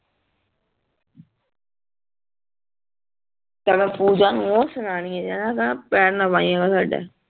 ਫੇਰ ਮੈਂ ਪੂਜਾ ਨੂੰ ਓ ਸੁਨਾਨਿਯਾ ਜਿਹੜੀ